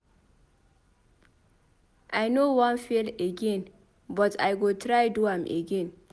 I no wan fail again but I go try do am again.